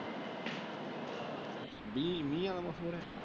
ਮੀਹ